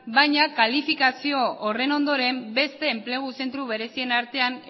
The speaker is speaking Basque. baina kalifikazio horren ondoren beste enplegu zentro berezien artean